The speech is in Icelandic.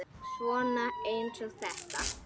Svona eins og þetta!